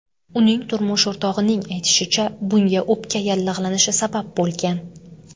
Uning turmush o‘rtog‘ining aytishicha, bunga o‘pka yallig‘lanishi sabab bo‘lgan.